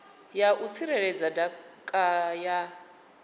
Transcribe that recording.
ya u tsireledza ndaka ya